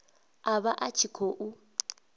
a vha a tshi khou